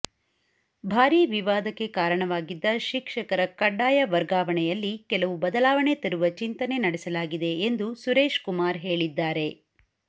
ಭಾರಿ ವಿವಾದಕ್ಕೆ ಕಾರಣವಾಗಿದ್ದ ಶಿಕ್ಷಕರ ಕಡ್ಡಾಯ ವರ್ಗಾವಣೆಯಲ್ಲಿ ಕೆಲವು ಬದಲಾವಣೆ ತರುವ ಚಿಂತನೆ ನಡೆಸಲಾಗಿದೆ ಎಂದು ಸುರೇಶ್ ಕುಮಾರ್ ಹೇಳಿದ್ದಾರೆ